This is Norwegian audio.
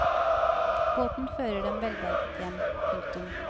Båten fører dem velberget hjem. punktum